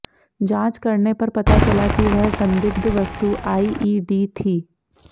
जांच करने पर पता चला कि वह संदिग्ध वस्तु आईईडी थी